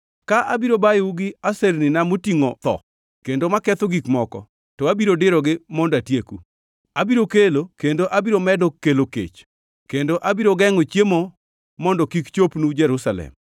Ka abiro bayou gi asernina motingʼo tho kendo maketho gik moko, to abiro dirogi mondo atieku. Abiro kelo, kendo abiro medo kelo kech kendo abiro gengʼo chiemo mondo kik chopnu Jerusalem.